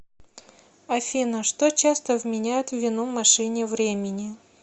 афина что часто вменяют в вину машине времени